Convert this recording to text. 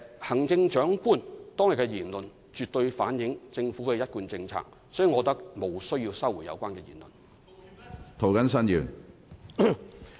行政長官當天的言論絕對反映政府的一貫政策，所以我認為無須收回有關言論。